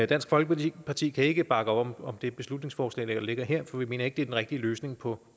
dansk folkeparti kan ikke bakke op om det beslutningsforslag der ligger her for vi mener ikke er den rigtige løsning på